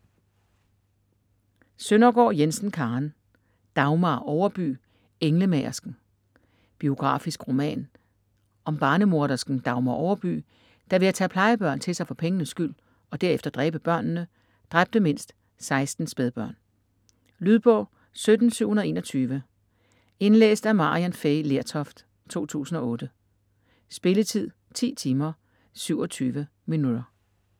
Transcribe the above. Søndergaard Jensen, Karen: Dagmar Overby: englemagersken Biografisk roman om barnemordersken Dagmar Overby, der ved at tage plejebørn til sig for pengenes skyld, og derefter dræbe børnene, dræbte mindst 16 spædbørn. Lydbog 17721 Indlæst af Maryann Fay Lertoft, 2008. Spilletid: 10 timer, 27 minutter.